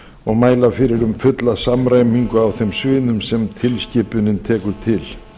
og að mæla fyrir um fulla samræmingu á þeim sviðum sem tilskipunin tekur til